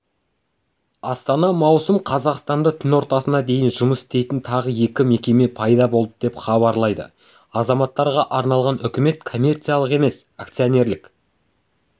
астана маусым қазақстанда түн ортасына дейін жұмыс істейтін тағы екі пайда болды деп хабарлады азаматтарға арналған үкімет коммерциялық емес акционерлік